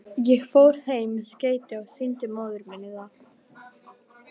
Ég fór heim með skeytið og sýndi móður minni það.